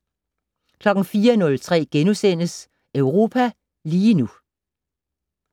04:03: Europa lige nu *